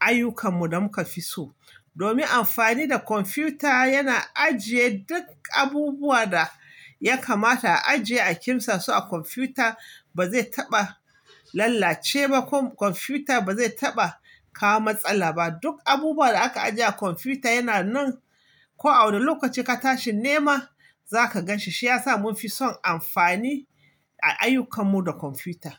ayyukan mu da muka fi so. Domin amfani da kwamfuta yana ajiye duk abubuwa da ya kamata a ajiye a ƙimsa, su a kwamfuta ba zai taɓa lallace ba ko kwamfuta ba zai taɓa kawo matsala ba. Duk abubuwan da aka ajiye a kwamfuta yana nan ko a wanne lokaci ka tashi nema za ka ganshi. Shi ya sa mun fi son amfani a ayyukan mu da kwamfuta.